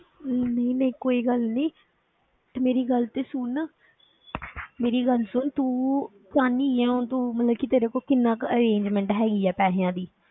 ਨਹੀਂ ਨਹੀਂ ਕੋਈ ਗੱਲ ਨੀ ਤੇ ਮੇਰੀ ਗੱਲ ਤੇ ਸੁਣ ਮੇਰੀ ਗੱਲ ਸੁਣ ਤੂੰ ਚਾਹੁੰਦੀ ਕੀ ਹੈ ਹੁਣ ਤੂੰ ਮਤਲਬ ਕਿ ਤੇਰੇ ਕੋਲ ਕਿੰਨਾ ਕੁ arrangement ਹੈਗੀ ਹੈ ਪੈਸਿਆਂ ਦੀ?